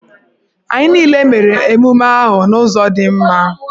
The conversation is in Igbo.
Anyị niile mere emume ahụ n'ụzọ dị mma.